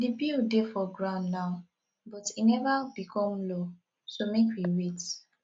the bill dey for ground now but e never become law so make we wait